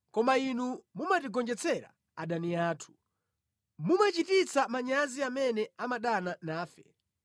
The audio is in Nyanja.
koma Inu mumatigonjetsera adani athu, mumachititsa manyazi amene amadana nafe.